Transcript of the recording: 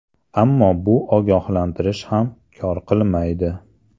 Ammo bu ogohlantirish ham kor qilmaydi.